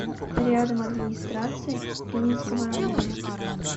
рядом администрация ленинского района